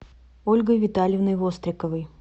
ольгой витальевной востриковой